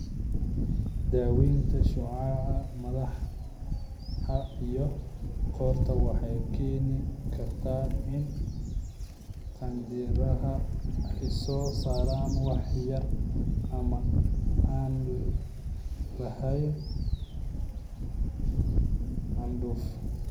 Daaweynta shucaaca madaxa iyo qoorta waxay keeni kartaa in qanjidhada ay soo saaraan wax yar ama aan lahayn candhuuf.